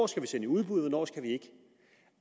skal sende i udbud og